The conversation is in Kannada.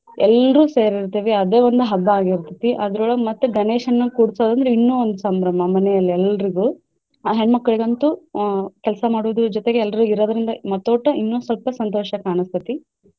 ಎಲ್ರೂ ಸೇರಿರ್ತೆವಿ ಅದೇ ಒಂದ್ ಹಬ್ಬ ಆಗಿರ್ತೈತಿ ಅದ್ರೋಳಗ ಮತ್ತೆ ಗಣೇಶನ ಕೂಡ್ಸೊದಂದ್ರ ಇನ್ನು ಒಂದ ಸಂಭ್ರಮ ಮನೇಲಿ ಎಲ್ರಿಗು ಆ ಹೆಣ್ಣ್ಮಕ್ಳಿಗಂತು ಆಹ್ ಕೆಲಸಾ ಮಾಡೋದರ ಜೊತೆಗೆ ಎಲ್ರೂ ಇರೋದ್ರಿಂದ ಮತ್ತೊಟ ಇನ್ನು ಸ್ವಲ್ಪ ಸಂತೋಷ ಕಾಣಿಸ್ತೈತಿ.